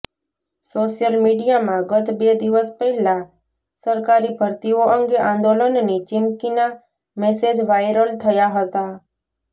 social મીડિયામાં ગત બે દિવસ પહેલા સરકારી ભરતીઓ અંગે આંદોલનની ચીમકીના મેસેજ વાયરલ થયા હતા